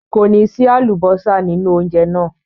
Kò ní sí àlùbọ́sà nínú oúnjẹ náà.